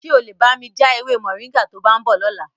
Ṣé o lè bá mi ja ewé Moringa to bá ń bọ̀ lọ́la?